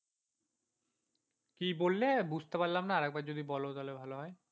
কি বললে বুঝতে পারলাম না আর একবার যদি বলো তাহলে ভালো হয়।